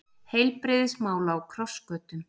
Heilbrigðismál á krossgötum